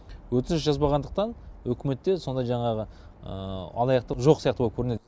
өтініш жазбағандықтан үкіметте сондай жаңағы алаяқтық жоқ сияқты боп көрінеді